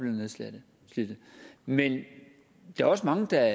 nedslidte men der er også mange der